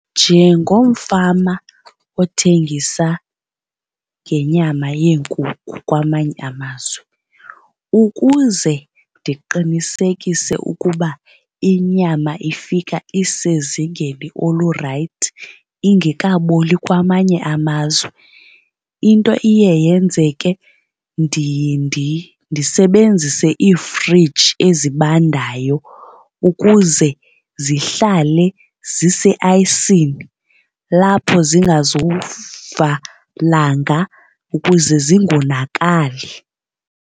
Njengomfama othengisa ngenyama yeenkukhu kwamanye amazwe ukuze ndiqinisekise ukuba inyama ifika isezingeni olurayithi ingekaboli kwamanye amazwe into iye yenzeke ndiye ndisebenzise iifriji ezibandayo ukuze zihlale ziseayisini lapho zingazuva langa ukuze zingonakali.